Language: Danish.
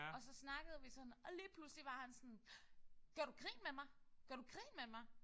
Og så snakkede vi sådan og så lige pludselig var han sådan gør du grin med mig? Gør du grin med mig?